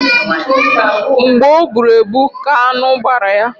Mgbe ọ bụrụ ebu ka anụ gbara ya